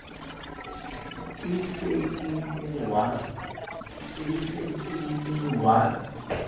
e se e le wa